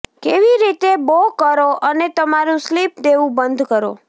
કેવી રીતે બો કરો અને તમારું સ્લીપ દેવું બંધ કરો